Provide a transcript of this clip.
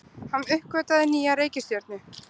Hann uppgötvaði nýja reikistjörnu!